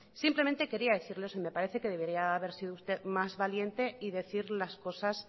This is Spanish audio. simplemente quería decirle eso y me parece que debería haber sido usted más valiente y decir las cosas